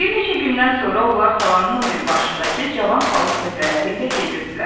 Bir neçə gündən sonra onlar talanın o biri başındakı cavan palıd pöhrələri ilə gedirdilər.